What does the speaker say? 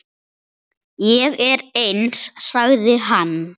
Ég er eins, sagði hann.